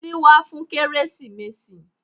Títí wá fún kérésìmesì.